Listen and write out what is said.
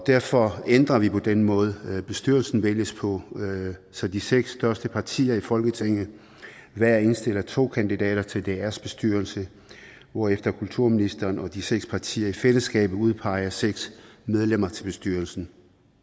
derfor ændrer vi den måde bestyrelsen vælges på så de seks største partier i folketinget hver indstiller to kandidater til drs bestyrelse hvorefter kulturministeren og de seks partier i fællesskab udpeger seks medlemmer til bestyrelsen